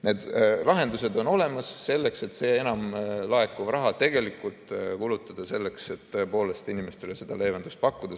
Need lahendused on olemas, et enam laekuv raha tegelikult kulutada selleks, et tõepoolest inimestele seda leevendust pakkuda.